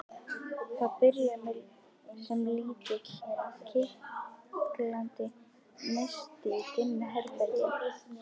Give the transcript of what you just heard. Það byrjar sem lítill, kitlandi neisti í dimmu herbergi.